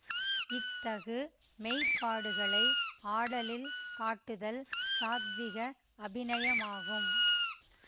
இத்தகு மெய்ப்பாடுகளை ஆடலில் காட்டுதல் சாத்விக அபிநயமாகும்